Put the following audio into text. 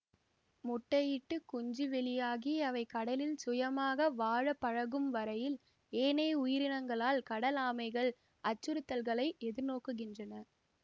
முட்டை இட்டு குஞ்சு வெளியாகி அவை கடலில் சுயமாக வாழப்பழகும் வரை யில் ஏனைய உயிரினங்களால் கடல் ஆமைகள் அச்சுறுத்தல்களை எதிர்நோக்குகின்றன